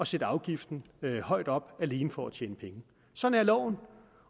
sætte afgiften højt op alene for at tjene penge sådan er loven